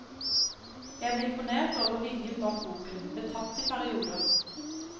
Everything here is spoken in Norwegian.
Jeg ble imponert over viljen bak boken, betatt i perioder.